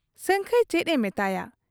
ᱥᱟᱹᱝᱠᱷᱟᱹᱭ ᱪᱮᱫ ᱮ ᱢᱮᱛᱟᱭᱟ ᱾